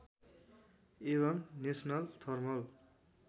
एवं national thermal